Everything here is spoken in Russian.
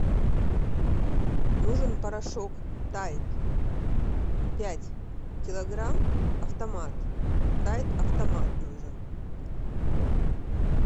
нужен порошок тайд пять килограмм автомат тайд автомат нужен